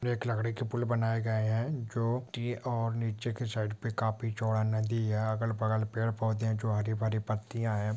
एक लकड़ी के पुल बनाए गए हैं जो और नीचे के साइड पर काफी चौड़ा नदी है अगल बगल पेड़ पौधे जो हरी भरी पत्तिया है |